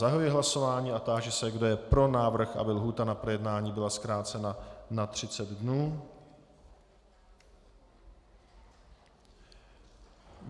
Zahajuji hlasování a táži se, kdo je pro návrh, aby lhůta na projednávání byla zkrácena na 30 dnů.